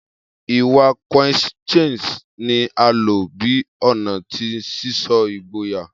Iwa Coquettish ni a lo bi ọna ti sisọ igboya.